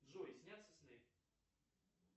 джой снятся сны